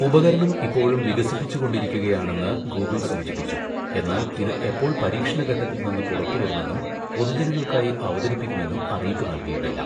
ഉപകരണം ഇപ്പോഴും വികസിപ്പിച്ചുകൊണ്ടിരിക്കുകയാണെന്ന് ഗൂഗിൾ സൂചിപ്പിച്ചു, എന്നാൽ ഇത് എപ്പോൾ പരീക്ഷണ ഘട്ടത്തിൽ നിന്ന് പുറത്തുവരുമെന്നും പൊതുജനങ്ങൾക്കായി അവതരിപ്പിക്കുമെന്നും അറിയിപ്പ് നൽകിയിട്ടില്ല.